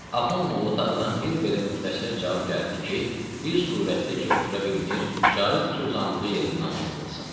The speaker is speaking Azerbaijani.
Axund Molla Tağıdan bir belə müxtəsər cavab gəldi ki, bir surətdə ki, otura bilmir, caizdir ki, uzandığı yerdə namazı qılsın.